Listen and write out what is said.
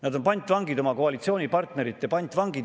Nad on pantvangid, oma koalitsioonipartnerite pantvangid.